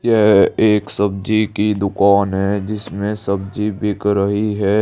यह एक सब्जी की दुकान है जिसमें सब्जी बिक रही है।